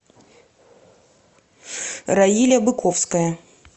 раиля быковская